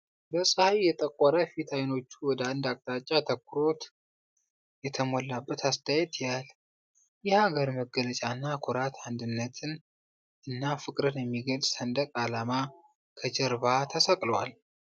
በፀሐይ የጠቆረ ፊት አይኖቹ ወደ አንድ አቅጣጫ አትኩሮት የተሞላበት አስተያዬት ያያል። የሀገር መገለጫና ጉራት አንድነትን እና ፍቅርን የሚገልፅ ሰንደቅ አላሜ ከጀርባ ተሰቅሏል።